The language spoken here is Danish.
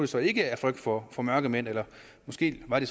så ikke af frygt for for mørkemænd eller måske var det